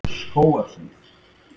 Skógarhlíð